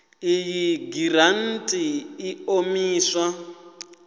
iyi giranthi i ḓo imiswa